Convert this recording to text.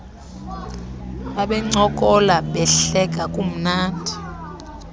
babencokola behleka kumnandi